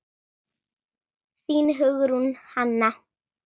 Þín, Hugrún Hanna.